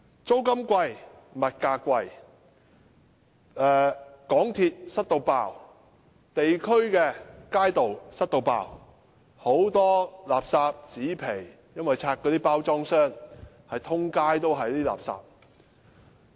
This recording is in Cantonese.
租金貴、物價貴、港鐵"塞爆"、地區街道"塞爆"，很多垃圾、紙皮，因為有些人在那裏拆包裝箱，滿街都是垃圾。